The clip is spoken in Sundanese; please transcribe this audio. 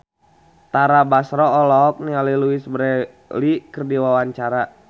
Tara Basro olohok ningali Louise Brealey keur diwawancara